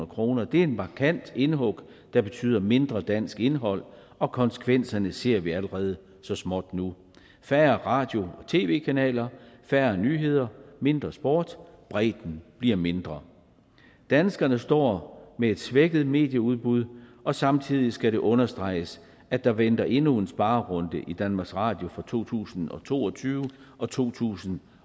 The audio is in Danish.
kroner det er et markant indhug der betyder mindre dansk indhold og konsekvenserne ser vi allerede så småt nu færre radio og tv kanaler færre nyheder mindre sport bredden bliver mindre danskerne står med et svækket medieudbud og samtidig skal det understreges at der venter endnu en sparerunde i danmarks radio for to tusind og to og tyve og to tusind